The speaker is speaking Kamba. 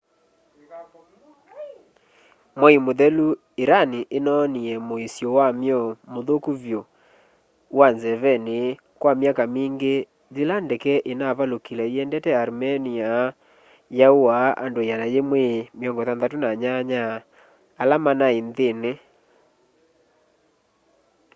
mwai mũthelu iran inonie muisyo wamyo muthuku vyu wa nzeveni kwa myaka mingi yila ndeke inaavalukile iendete armenia yauaa andu 168 ala manai nthini